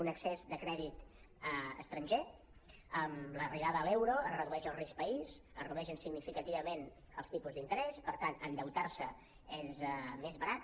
un excés de crèdit estranger amb l’arribada a l’euro es redueix el risc país es redueixen significativament els tipus d’interès i per tant endeutar se és més barat